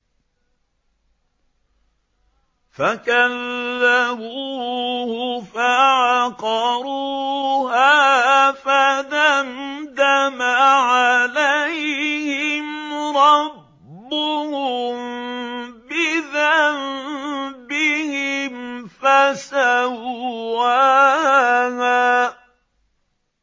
فَكَذَّبُوهُ فَعَقَرُوهَا فَدَمْدَمَ عَلَيْهِمْ رَبُّهُم بِذَنبِهِمْ فَسَوَّاهَا